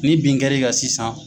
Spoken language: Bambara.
Ni bin kɛr'i kan sisan.